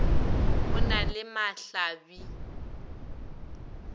o na le mahla bi